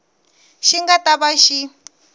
xi nga ta va xi